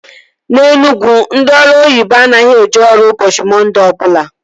Na Enugwu ndị ọrụ oyibo anaghị eje ọrụ ụbọchị Mọnde ọbụla